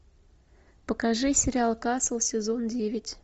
покажи сериал касл сезон девять